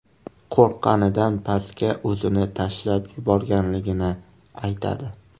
qo‘rqqanidan pastga o‘zini tashlab yuborganligini aytadi.